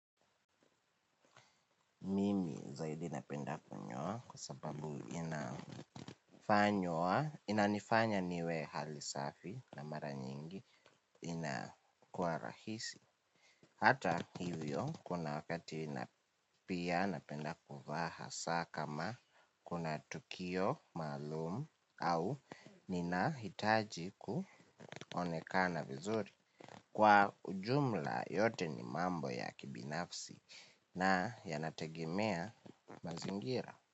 Mimi zaidi napenda kunyoa kwa sababu inanifanya niwe hali safi na mara nyingi inakuwa rahisi. Hata hivyo kuna wakati na pia napenda kuvaaa hasaa kama kuna tukio maalumu au nina hitaji kuonekana vizuri. Kwa ujumla yote ni mambo ya kibinafsi na yanategemea mazingira.